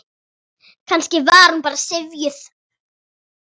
Kannski var hún bara syfjuð.